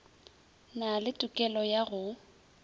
na le tokelo ya go